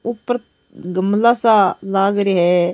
ऊपर गमला सा लाग रिया है।